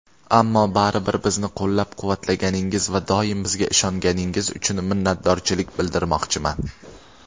ammo baribir bizni qo‘llab-quvvatlaganingiz va doim bizga ishonganingiz uchun minnatdorchilik bildirmoqchiman.